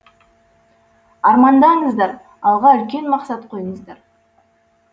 армандаңыздар алға үлкен мақсат қойыңыздар